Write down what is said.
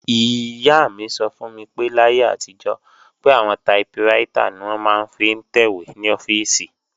Ìyá mi sọ fún mi pé láyé àtijọ́, pé àwọn taiprítà ni wọ́n máa ń fi ń tẹ̀wé ní ọ́fíìsì